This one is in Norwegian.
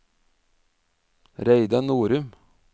Reidar Norum